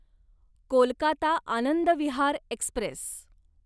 Kolkata Anand Vihar Express